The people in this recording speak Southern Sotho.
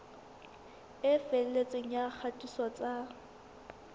e felletseng ya kgatiso tsa